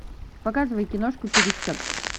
показывай киношку пересчет